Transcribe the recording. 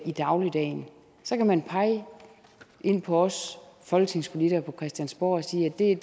i dagligdagen så kan man pege ind på os folketingspolitikere på christiansborg og sige at det er